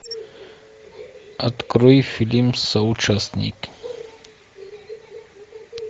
открой фильм соучастник